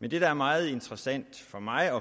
men det der er meget interessant for mig at